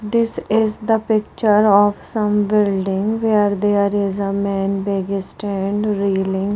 this is the picture of some building where they are is a man begistant reeling.